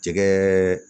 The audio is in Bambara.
Jɛgɛ